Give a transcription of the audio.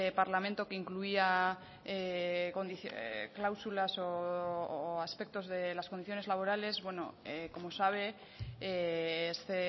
parlamento que incluía cláusulas o aspectos de las condiciones laborales bueno como sabe este